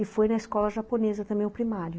E foi na escola japonesa também o primário.